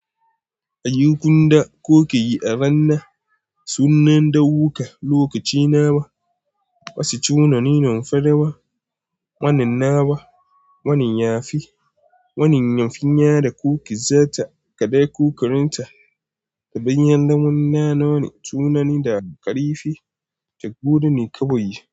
A yi kun da ku ke yi a ranna sunan da wuƙa lokaci nawa, wasu sunaye na farawa, wannan nawa, wannan ya fi, wannan yamfinya da ko ki za ta kaɗai ko ki rinta daɓin yadda muna nawa ne sunan da ƙarifi tak gudu ne kaɓoyi.